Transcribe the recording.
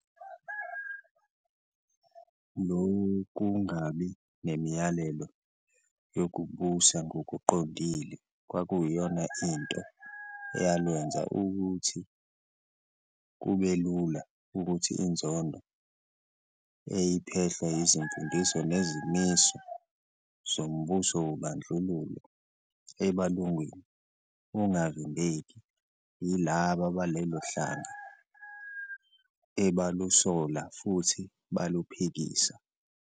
Lobungabi nemiyalelo okubusa ngobuqondile kwakuyona into eyalwenza ukuthi kubelula ukuthi inzondo eyiphehlwa izimfundiso nezimiso zombuso wobandlululo ebalungwini ungavimbeki yilaba balelohlanga ebalusola futhi baluphikisa.